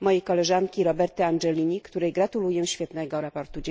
mojej koleżanki Roberty Angelilli, której gratuluję świetnego sprawozdania.